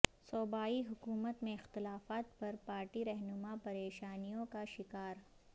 صوبائی حکومت میں اختلافات پر پارٹی رہنماپریشانیوں کا شکار